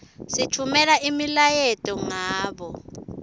sitfumela imiyaleto ngabo